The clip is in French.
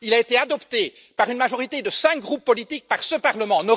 Il a été adopté par une majorité de cinq groupes politiques par ce Parlement.